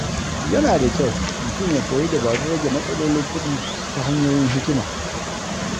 Yana da kyau mutum ya koyi dabarun rage matsalolin kuɗi ta hanyoyin hikima.